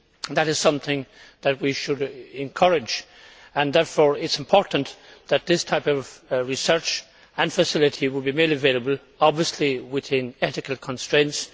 That is something that we should encourage, and therefore it is important that this type of research and facility be made available obviously within ethical constraints.